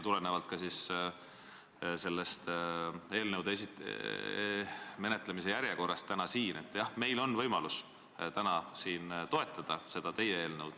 Tulenevalt eelnõude menetlemise järjekorrast tänasel istungil on meil võimalus toetada teie eelnõu.